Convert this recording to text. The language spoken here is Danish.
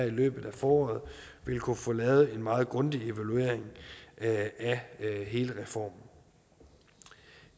i løbet af foråret vil kunne få lavet en meget grundig evaluering af hele reformen